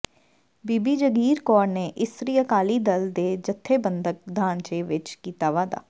ਬੀਬੀ ਜਗੀਰ ਕੌਰ ਨੇ ਇਸਤਰੀ ਅਕਾਲੀ ਦਲ ਦੇ ਜਥੇਬੰਦਕ ਢਾਂਚੇ ਵਿੱਚ ਕੀਤਾ ਵਾਧਾ